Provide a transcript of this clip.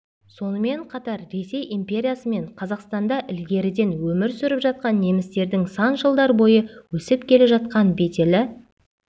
сонымен қатар ресей империясы мен қазақстанда ілгеріден өмір сүріп жатқан немістердің сан жылдар бойы өсіп келе жатқан беделі